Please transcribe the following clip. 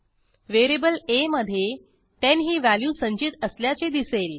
variable आ मधे 10 ही व्हॅल्यू संचित असल्याचे दिसेल